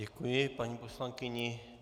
Děkuji paní poslankyni.